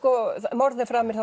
morð er framið